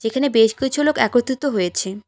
এখানে বেশ কিছু লোক একত্রিত হয়েছে।